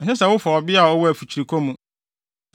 “ ‘Ɛnsɛ sɛ wofa ɔbea a ɔwɔ afikyirikɔ mu.